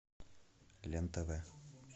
лен тв